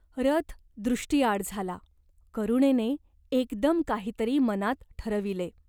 रथ दृष्टीआड झाला. करुणेने एकदम काही तरी मनात ठरविले.